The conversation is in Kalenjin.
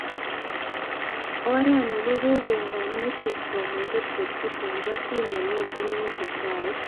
Oret ni kokon konetik komuget kochut eng kosit nemite eng chukwait